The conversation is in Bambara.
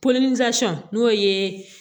n'o ye